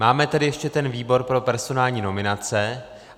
Máme tedy ještě ten výbor pro personální nominace.